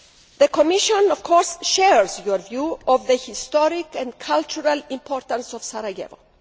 The Commission, of course, shares your view of the historic and cultural importance of Sarajevo.